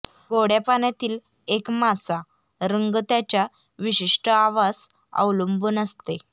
गोडया पाण्यातील एक मासा रंग त्याच्या विशिष्ट आवास अवलंबून असते